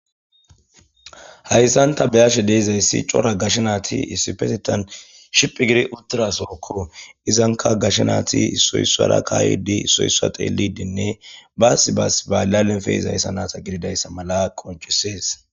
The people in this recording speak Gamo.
Hayssanta beyashe deizayssi cora gasha naati issipetetan shiphi giri utdira sookko izanka gashanaati issoyssara kaaydi issoyssa xeelidinne baassi baas baalalen feeza hayssa nata gididayssa mala qoncisees